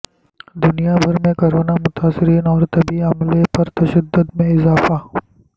دنیا بھر میں کرونا متاثرین اور طبی عملے پر تشدد میں اضافہ